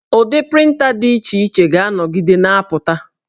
Ụdị prịnta dị iche iche ga-anọgide na-apụta